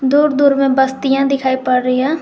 दूर दूर में बस्तियां दिखाई पड़ रही हैं।